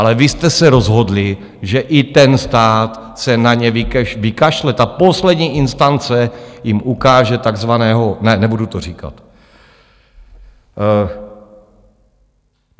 Ale vy jste se rozhodli, že i ten stát se na ně vykašle a poslední instance jim ukáže takzvaného... ne, nebudu to říkat.